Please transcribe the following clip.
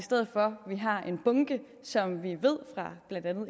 så